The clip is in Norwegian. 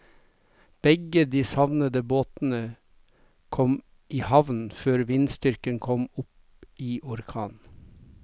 Begge de savnede båtene kom i havn før vindstyrken kom opp i orkan.